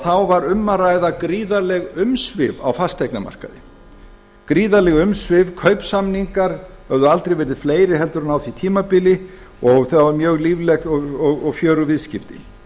þá var um að ræða gríðarleg umsvif á fasteignamarkaði gríðarleg umsvif kaupsamningar hafa aldrei verið fleiri heldur en á því tímabili og það voru mjög lífleg og fjörug viðskipti